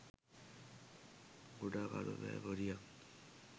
කුඩා කළු පෑ පොදියක්